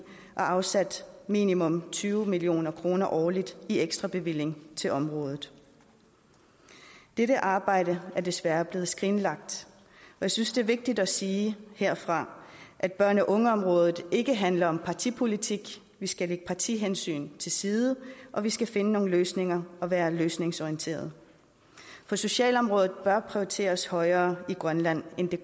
og afsatte minimum tyve million kroner årligt i ekstra bevilling til området dette arbejde er desværre blevet skrinlagt jeg synes det er vigtigt at sige herfra at børn og unge området ikke handler om partipolitik vi skal lægge partihensyn til side og vi skal finde nogle løsninger og være løsningsorienterede for socialområdet bør prioriteres højere i grønland end det